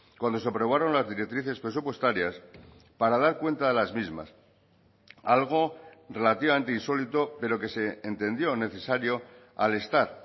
cuando se aprobaron las directrices presupuestarias para dar cuenta de las mismas algo relativamente insólito pero que se entendió necesario al estar